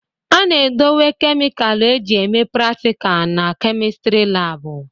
A na-edowe kemịkalụ eji eme pratika na kemịstri laabụ.